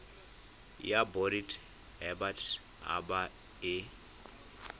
ya bodit habat haba e